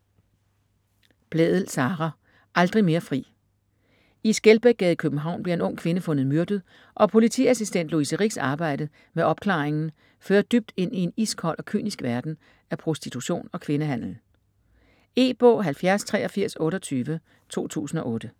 Blædel, Sara: Aldrig mere fri I Skelbækgade i København bliver en ung kvinde fundet myrdet, og politiassistent Louise Ricks arbejde med opklaringen fører dybt ind i en iskold og kynisk verden af prostitution og kvindehandel. E-bog 708328 2008.